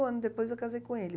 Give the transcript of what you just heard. Um ano depois eu casei com ele.